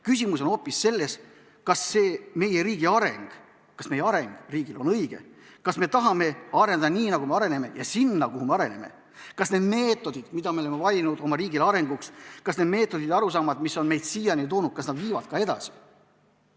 Küsimus on hoopis selles, kas see meie riigi areng on õige; kas me tahame areneda nii, nagu me areneme, ja sinna, kuhu me areneme; kas need meetodid, mida me oleme valinud oma riigile arenguks, ja arusaamad, mis on meid siiani toonud, viivad ka edasi.